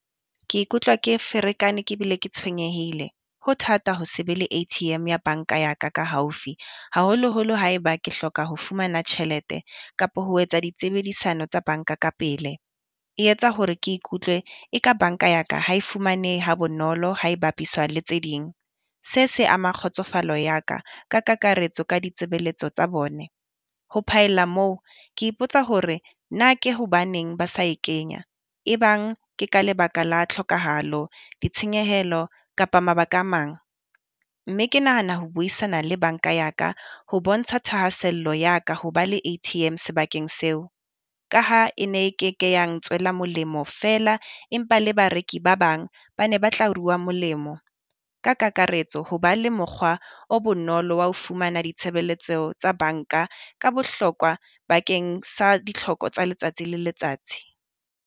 Ke ikutlwa ke ferekane ke bile ke tshwenyehile, ho thata ho se be le A_T_M ya banka ya ka ka haufi. Haholoholo haeba ke hloka ho fumana tjhelete kapo ho etsa di tsebedisano tsa banka ka pele, e etsa hore ke ikutlwe eka banka ya ka ha e fumanehe ha bonolo ha e bapiswa le tse ding. Se se ama kgotsofalo ya ka ka kakaretso ka ditsebeletso tsa bone, ho phaella moo ke ipotsa hore na ke hobaneng ba sa e kenya? E bang ke ka lebaka la tlhokahalo, ditshenyehelo kapa mabaka a mang. Mme ke nahana ho buisana le banka ya ka, ho bontsha thahasello ya ka ho ba le A_T_M sebakeng seo. Ka ha e ne keke ya ngtswela molemo feela, empa le bareki ba bang ba ne ba tla rua molemo. Ka kakaretso, ho ba le mokgwa o bonolo wa ho fumana ditshebeletseo tsa banka ka bohlokwa bakeng sa ditlhoko tsa letsatsi le letsatsi.